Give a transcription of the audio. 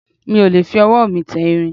mi ò lè fi ọwọ́ mi tẹ irin